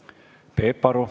Peep Aru.